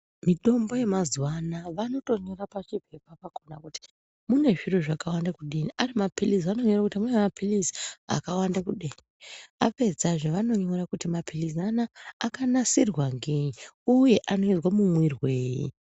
Mitombo yemazuva anawa vanotonyora nepachipepa pakhona kuti mune zviro zvakawanda kudini. Ari mapirizi vanonyora kuti mapirizi akawanda kudini. Apedzazve vanonyora kuti mapirizi anaa akanasirwa ngei uye anoizwa mumwirwei.